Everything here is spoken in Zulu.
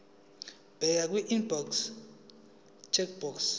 bheka kwiimporter checkbox